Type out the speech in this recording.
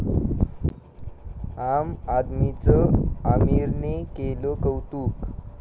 आम आदमी'चं आमिरने केलं कौतुक